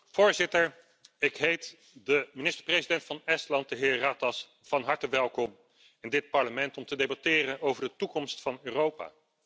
Voorzitter, ik heet de minister president van Estland, de heer Ratas, van harte welkom in dit Parlement om te debatteren over de toekomst van Europa.